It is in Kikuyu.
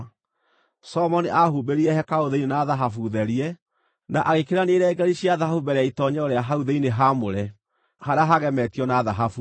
Solomoni aahumbĩrire hekarũ thĩinĩ na thahabu therie, na agĩkĩrania irengeeri cia thahabu mbere ya itoonyero rĩa hau thĩinĩ haamũre harĩa haagemetio na thahabu.